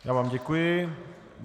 Já vám děkuji.